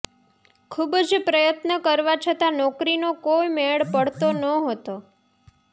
ખૂબ પ્રયત્ન કરવા છતાં નોકરીનો કોઈ મેળ પડતો નહોતો